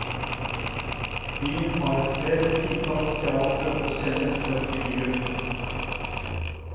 Byen har flere titalls teatre og scener for frie grupper.